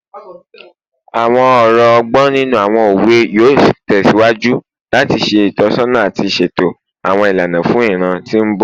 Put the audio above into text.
Awọn ọrọ ọgbọn ninu awọn owe yoo tẹsiwaju lati ṣe itọsọna ati ṣeto awọn ilana fun iran ti mbọ